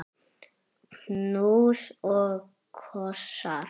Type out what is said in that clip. Knús og kossar.